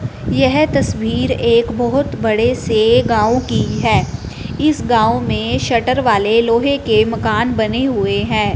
यह तस्वीर एक बहोत बड़े से गांव की है इस गांव में शटर वाले लोहे के मकान बने हुए हैं।